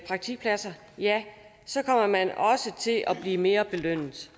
praktikpladser ja så kommer man også til at blive mere belønnet